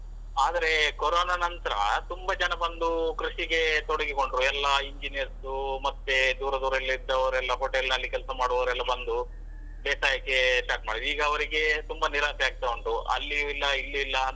ಆದ್ರೆ Corona ನಂತ್ರ ತುಂಬಾ ಜನ ಬಂದು ಕೃಷಿಗೆ ತೊಡಗಿಕೊಂಡ್ರು ಎಲ್ಲ engineers ಉ ಮತ್ತೆ ದೂರ ದೂರದಲ್ಲಿ ಇದ್ದವರೆಲ್ಲ hotel ನಲ್ಲಿ ಕೆಲಸ ಮಾಡುವವರೆಲ್ಲ ಬಂದು ಬೇಸಾಯಕ್ಕೆ start ಮಾಡಿದ್ದು ಈಗ ಅವ್ರಿಗೆ ತುಂಬಾ ನೀರಾಸೆ ಆಗ್ತಾ ಉಂಟು. ಅಲ್ಲಿಯೂ ಇಲ್ಲ ಇಲ್ಲಿ ಇಲ್ಲ.